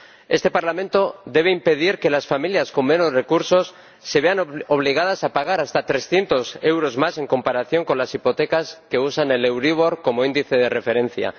Este Parlamento debe impedir que las familias con menos recursos se vean obligadas a pagar hasta trescientos euros más en comparación con las hipotecas que usan el euríbor como índice de referencia.